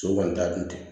So kɔni t'a dun ten